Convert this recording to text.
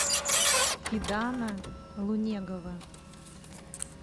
фидана лунегова